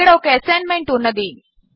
ఇక్కడ ఒక ఎసైన్మెంట్ ఉన్నది